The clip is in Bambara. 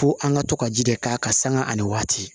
Ko an ka to ka ji de k'a kan sanga ani waati